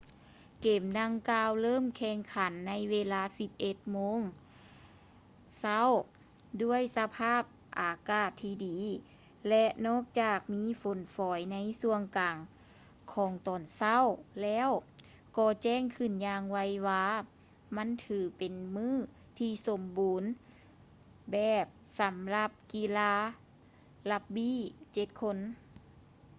ເກມດັ່ງກ່າວເລີ່ມແຂ່ງຂັນໃນເວລາ 10:00 ໂມງເຊົ້າ ດ້ວຍສະພາບອາກາດທີ່ດີ ແລະ ນອກຈາກມີຝົນຝອຍໃນຊ່ວງກາງຂອງຕອນເຊົ້າແລ້ວ ກໍແຈ້ງຂຶ້ນຢ່າງໄວວາ ມັນຖືເປັນມື້ທີ່ສົມບູນແບບ ສຳລັບກິລາຣັກບີ້ 7 ຄົນ